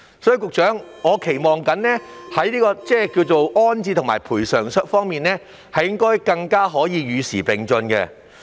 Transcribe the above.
所以，局長，我期望在安置及賠償安排方面能更加與時並進。